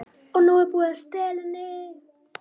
OG NÚ ER BÚIÐ AÐ STELA HENNI!